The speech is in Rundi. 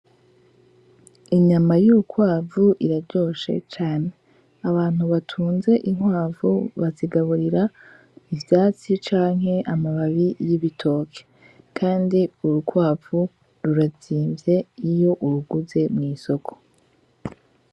Inyama y'ukwavu iraryoshe cane abantu batunze inkwavu bazigaburira ivyatsi canke amababi y'ibitoke, kandi urukwavu rurazimvye iyo uruguze mw'isoko.